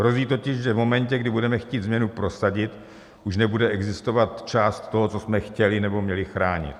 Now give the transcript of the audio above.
Hrozí totiž, že v momentě, kdy budeme chtít změnu prosadit, už nebude existovat část toho, co jsme chtěli nebo měli chránit.